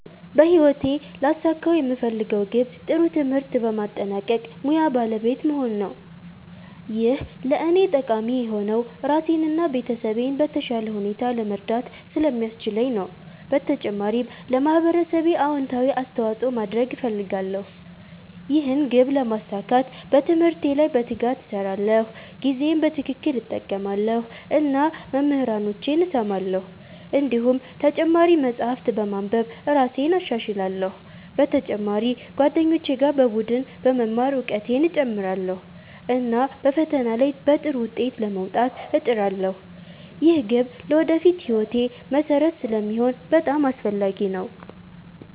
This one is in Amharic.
በህይወቴ ሊያሳኩት የምፈልገው ግብ ጥሩ ትምህርት በማጠናቀቅ ሙያ ባለቤት መሆን ነው። ይህ ለእኔ ጠቃሚ የሆነው ራሴን እና ቤተሰቤን በተሻለ ሁኔታ ለመርዳት ስለሚያስችለኝ ነው። በተጨማሪም ለማህበረሰቤ አዎንታዊ አስተዋፅኦ ማድረግ እፈልጋለሁ። ይህን ግብ ለማሳካት በትምህርቴ ላይ በትጋት እሰራለሁ፣ ጊዜዬን በትክክል እጠቀማለሁ እና መምህራኖቼን እሰማለሁ። እንዲሁም ተጨማሪ መጻሕፍት በማንበብ እራሴን እሻሻላለሁ። በተጨማሪ ከጓደኞቼ ጋር በቡድን በመማር እውቀቴን እጨምራለሁ፣ እና በፈተና ላይ በጥሩ ውጤት ለመውጣት እጥራለሁ። ይህ ግብ ለወደፊት ሕይወቴ መሠረት ስለሚሆን በጣም አስፈላጊ ነው።